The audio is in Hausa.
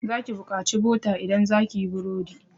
Za ki bukaci bota idan zaki yi burodi.